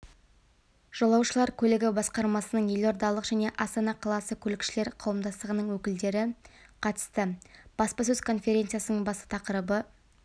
жолаушылар көлігі басқармасының елордалық және астана қаласы көлікшілер қауымдастығының өкілдері қатысты баспасөз конференциясының басты тақырыбы